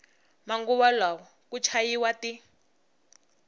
manguva lawa ku chayiwa ti